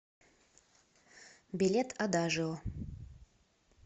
билет адажио